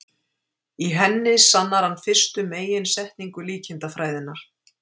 í henni sannar hann fyrstu meginsetningu líkindafræðinnar